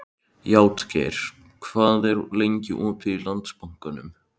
Játgeir, hvað er lengi opið í Landsbankanum?